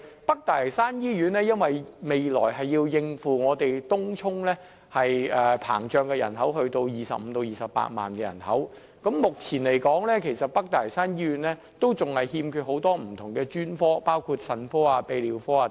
北大嶼山醫院未來須應付東涌不斷膨脹達25萬至28萬的人口，但北大嶼山醫院目前仍然欠缺很多不同的專科，包括腎科和泌尿科等。